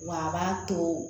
Wa a b'a to